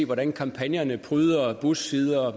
hvordan kampagnerne pryder bussider